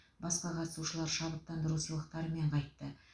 басқа қатысушылар шабыттандыру сыйлықтарымен қайтты